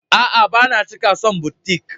A'a, ba na cika son butiƙ.